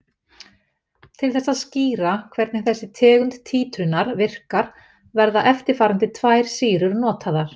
Til þess að skýra hvernig þessi tegund títrunar virkar verða eftirfarandi tvær sýrur notaðar.